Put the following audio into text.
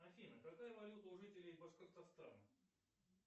афина какая валюта у жителей башкортостана